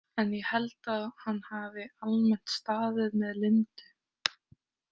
En ég held að hann hafi almennt staðið með Lindu.